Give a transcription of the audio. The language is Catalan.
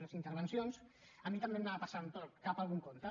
les intervencions a mi també m’ha passat pel cap algun conte